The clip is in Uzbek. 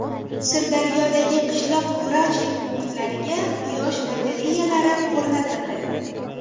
Sirdaryodagi qishloq vrachlik punktlariga quyosh batareyalari o‘rnatildi.